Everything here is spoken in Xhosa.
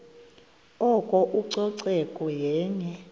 oko ucoceko yenye